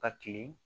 Ka kilen